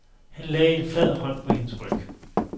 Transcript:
Han lagde en flad hånd på hendes ryg.